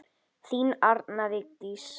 Þín Arna Vigdís.